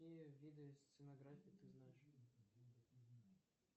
какие виды стенографии ты знаешь